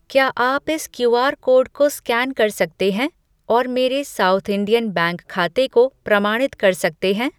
क्या आप इस क्यूआर कोड को स्कैन कर सकते हैं और मेरे सॉउथ इंडियन बैंक खाते को प्रमाणित कर सकते हैं?